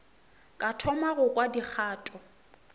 ka thoma go kwa dikgato